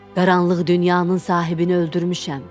Qaranlıq dünyanın sahibini öldürmüşəm.